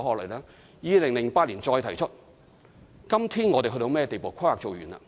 該發展計劃2008年再提出，今天已經完成了規劃。